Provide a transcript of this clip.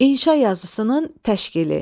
İnşa yazısının təşkili.